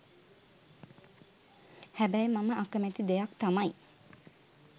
හැබැයි මම අකමැති දෙයක් තමයි